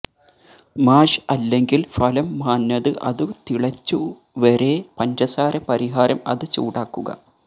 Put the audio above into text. മാഷ് അല്ലെങ്കിൽ ഫലം മാഞ്ഞത് അതു തിളച്ചു വരെ പഞ്ചസാര പരിഹാരം അത് ചൂടാക്കുക